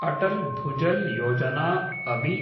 अटल् भुजल् योजना अबि